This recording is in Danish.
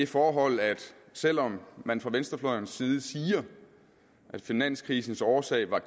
forhold at selv om man fra venstrefløjens side siger at finanskrisens årsag var